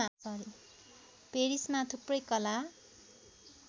पेरिसमा थुप्रै कला